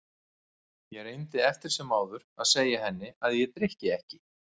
Ég reyndi eftir sem áður að segja henni að ég drykki ekki.